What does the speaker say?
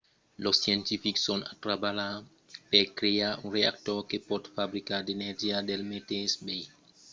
los scientifics son a trabalhar per crear un reactor que pòt fabricar d'energia del meteis biais